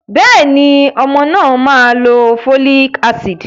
Bẹ́ẹ̀ni, ọmọ náà má lo folic acid.